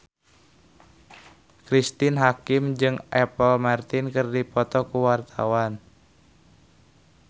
Cristine Hakim jeung Apple Martin keur dipoto ku wartawan